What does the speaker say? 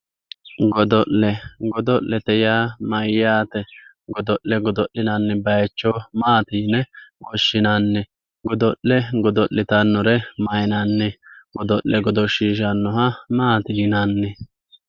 Godo'le godo'lete yaa mayyate, godo'le godo'linanni bayicho maati yine woshshinanni, godo'le godo'littanore mayinanni, godo'le godoshishanoha maati yinanni ?